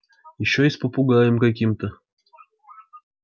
ещё и с попугаем каким-то